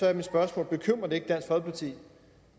er mit spørgsmål bekymrer det ikke dansk folkeparti